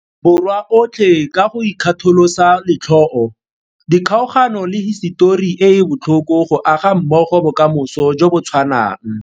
Borwa otlhe ka go ikgatholosa letlhoo, dikgaogano le hisetori e e botlhoko go aga mmogo bokamoso jo bo tshwanang.